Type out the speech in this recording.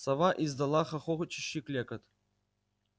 сова издала хохочущий клёкот